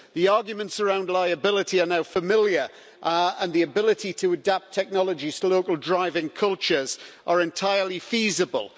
The arguments around liability are now familiar and the ability to adapt technologies to local driving cultures are entirely feasible.